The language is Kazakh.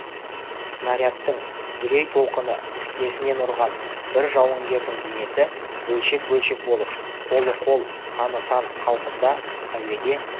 снарядтың дүлей толқыны тікесінен ұрған бір жауынгердің денесі бөлшек-бөлшек болып қолы қол саны сан қалпында әуеде